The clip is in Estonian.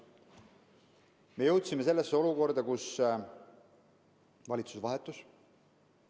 Me jõudsime olukorda, kus valitsus vahetus.